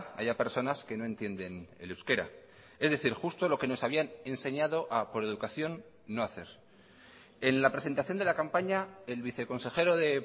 haya personas que no entienden el euskera es decir justo lo que nos habían enseñado a por educación no hacer en la presentación de la campaña el viceconsejero de